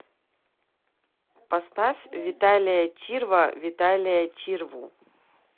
поставь виталия чирва виталия чирву